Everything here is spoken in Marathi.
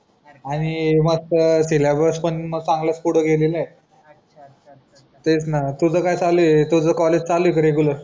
आणि मस्त सिलॅब्स पण चांगलाच पुढं गेलेलंय तेच ना तुझं काय चालूये तुझं कॉलेज चालू ए का रेगुलर